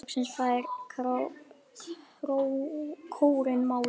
Loksins fær kórinn málið.